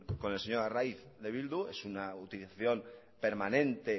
con el señor arraiz de bildu es una utilización permanente